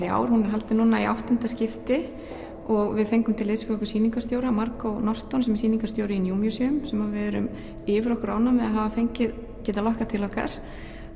í ár hún er haldin núna í áttunda skipti og við fengum til liðs við okkur sýningarstjóra Margot Norton sem er sýningarstjóri í New Museum sem við erum yfir okkur ánægð að hafa fengið getað lokkað til okkar